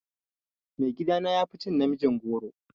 Mai gida na yafi cin namijin goro.